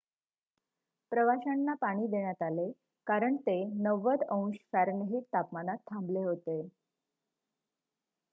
प्रवाशांना पाणी देण्यात आले कारण ते 90फ- अंश तापमानात थांबले होते